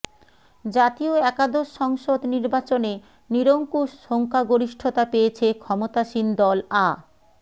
জাতীয় একাদশ সংসদ নির্বাচনে নিরঙ্কুশ সংখ্যাগরিষ্ঠতা পেয়েছে ক্ষমতাসীন দল আ